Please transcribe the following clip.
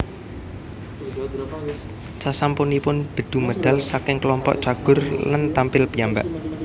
Sasampunipun Bedu medal saking klompok Cagur lan tampil piyambak